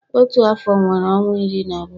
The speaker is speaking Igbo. Otu afọ nwere ọnwa iri na abụọ